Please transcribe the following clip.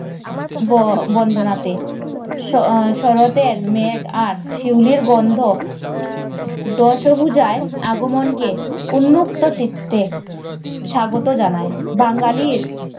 ববন্দনাতে আহ শরৎ এর মেঘ আর শিউলির গন্ধ দশভুজার আগমনকে উন্মুক্ত চিত্তে স্বাগত জানায় বাঙালির